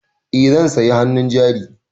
Eh zan sayi hannun jari.